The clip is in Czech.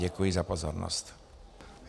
Děkuji za pozornost.